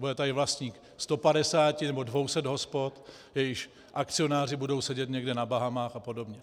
Bude tady vlastník 150 nebo 200 hospod, jejichž akcionáři budou sedět někde na Bahamách a podobně.